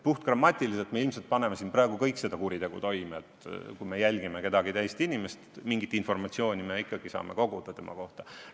Puhtgrammatiliselt tõlgendades me ilmselt paneme siin praegu kõik seda kuritegu toime – kui me jälgime kedagi teist inimest, mingit informatsiooni me ikka saame koguda tema kohta.